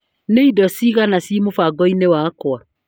Nĩ indo cigana ci mũbango-inĩ wakwa ?